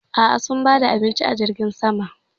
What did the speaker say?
A'a, sun bar ba da abinci a jirgin saman.